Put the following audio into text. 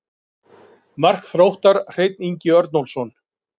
Mark Þróttar: Hreinn Ingi Örnólfsson.